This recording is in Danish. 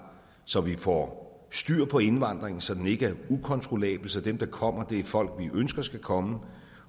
så vi får styr på indvandringen så den ikke er ukontrollabel så dem der kommer er folk vi ønsker skal komme